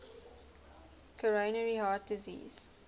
coronary heart disease